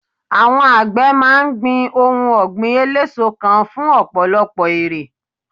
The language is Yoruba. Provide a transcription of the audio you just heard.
àwọn àgbẹ ma n gbin ohun ògbìn eleso kan fún ọpọlọpọ èrè